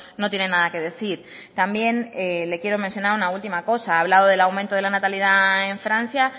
no tiene nada que decir también le quiero mencionar una última cosa ha hablado del aumento de la natalidad en francia